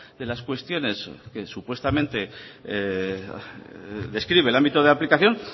de las cuestiones que supuestamente describe el ámbito de aplicación